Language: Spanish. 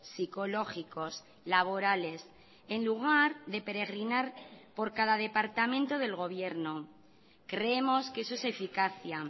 psicológicos laborales en lugar de peregrinar por cada departamento del gobierno creemos que eso es eficacia